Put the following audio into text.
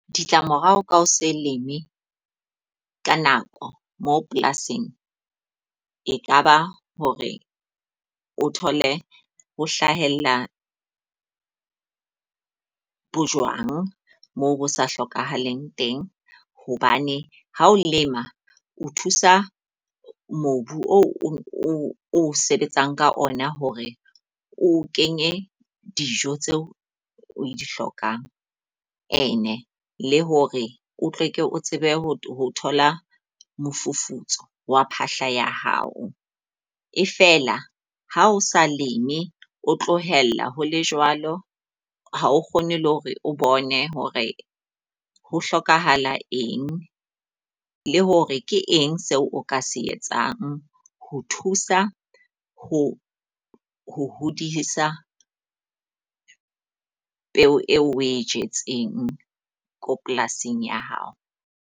Ditla morao ka hose leme ka nako mo polasing e ka ba hore o thole ho hlahella bojwang mo bo sa hlokahaleng teng. Hobane ha o lema o thusa mobu o o sebetsang ka ona hore o kenye dijo tseo o e di hlokang. E ne le hore o tleke o tsebe ho thola mofufutso wa phahla ya hao. E fela ha o sa leme, o tlohella ho le jwalo ha o kgone le hore o bone hore ho hlokahala eng le hore ke eng seo o ka se etsang ho thusa ho ho hodisa peo eo o e jetseng ko polasing ya hao.